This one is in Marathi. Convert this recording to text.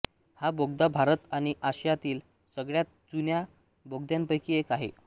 हा बोगदा भारत आणि आशियातील सगळ्यात जुन्या बोगद्यांपैकी एक आहे